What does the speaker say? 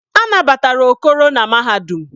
A nabatara Okoro na mahadum.